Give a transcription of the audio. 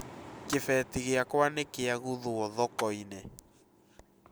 Kĩbeti gĩakwa nĩ kĩagũthwo thoko-inĩ